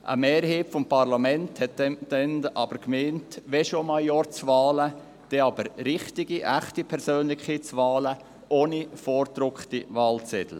Eine Mehrheit des Parlaments meinte damals, dass wenn schon Majorzwahlen, dann auch richtige, echte Persönlichkeitswahlen, ohne vorgedruckte Wahlzettel.